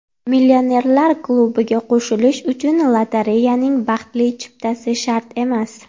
Millionerlar klubiga qo‘shilish uchun lotereyaning baxtli chiptasi shart emas.